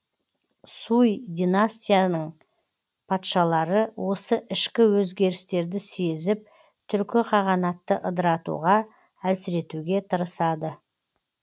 суй династияның патшалары осы ішкі өзгерістерді сезіп түркі қағанатты ыдыратуға әлсіретуге тырысады